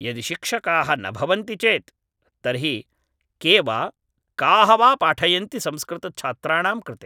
यदि शिक्षकाः न भवन्ति चेत् तर्हि के वा काः वा पाठयन्ति संस्कृतछात्राणां कृते